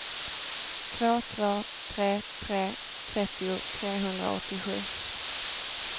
två två tre tre trettio trehundraåttiosju